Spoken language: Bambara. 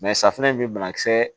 safunɛ in bɛ banakisɛ